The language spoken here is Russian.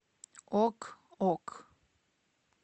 ок ок